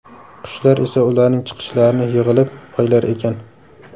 Qushlar esa ularning chiqishlarini yig‘ilib, poylar ekan.